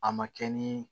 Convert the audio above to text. A ma kɛ ni